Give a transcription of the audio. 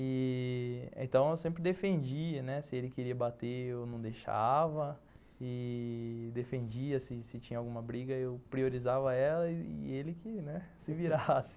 E... Então eu sempre defendia, né, se ele queria bater eu não deixava e defendia, se se tinha alguma briga eu priorizava ela e ele que, né, se virasse.